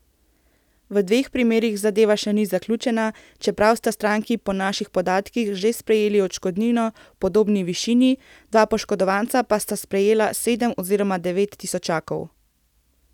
V dveh primerih zadeva še ni zaključena, čeprav sta stranki po naših podatkih že sprejeli odškodnino v podobni višini, dva poškodovanca pa sta sprejela sedem oziroma devet tisočakov.